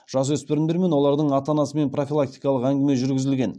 жасөспірімдер мен олардың ата анасымен профилактикалық әңгіме жүргізілген